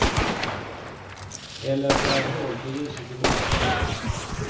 Eller skär hål för ljuset i botten.